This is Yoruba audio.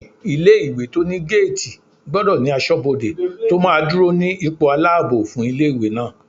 Ilé-ìwé tó ní géètì gbọdọ̀ ní asọ́bodè tó máa dúró ní ipò aláàbò fún ilé-ìwé náà